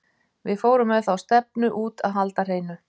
Við fórum með þá stefnu út að halda hreinu.